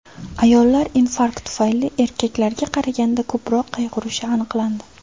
Ayollar infarkt tufayli erkaklarga qaraganda ko‘proq qayg‘urishi aniqlandi .